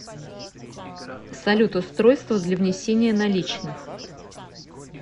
салют устройство для внесения наличных